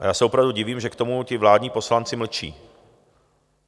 A já se opravdu divím, že k tomu ti vládní poslanci mlčí.